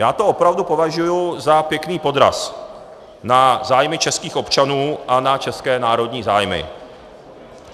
Já to opravdu považuji za pěkný podraz na zájmy českých občanů a na české národní zájmy.